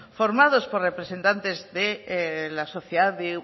formados por representantes de la sociedad de